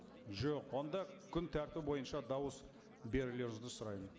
жоқ онда күн тәртібі бойынша дауыс берулеріңізді сұраймын